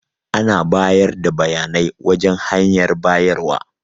Ana bayar da bayanai wajan hanyar bayarwa.